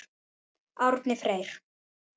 Árni Freyr.